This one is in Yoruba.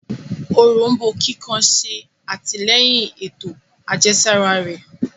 Òrombó kíkan ṣe atilẹyin ètò àjẹsára rẹ